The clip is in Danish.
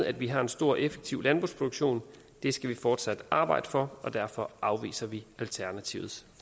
at vi har en stor og effektiv landbrugsproduktion det skal vi fortsat arbejde for og derfor afviser vi alternativets